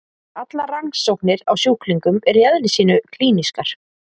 Allar rannsóknir á sjúklingum eru í eðli sínu klínískar.